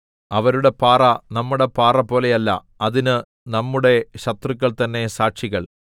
അവരുടെ പാറ നമ്മുടെ പാറപോലെയല്ല അതിന് നമ്മുടെ ശത്രുക്കൾ തന്നെ സാക്ഷികൾ